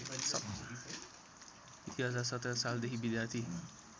२०१७ सालदेखि विद्यार्थी